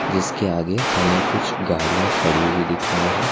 जिसके आगे हमें कुछ गाड़ियां खड़ी हुई दिख रही हैं।